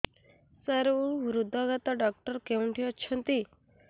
ସାର ହୃଦଘାତ ଡକ୍ଟର କେଉଁଠି ଅଛନ୍ତି